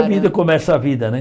A vida começa a vida, né?